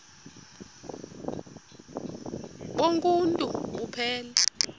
bonk uuntu buphelele